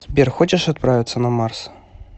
сбер хочешь отправиться на марс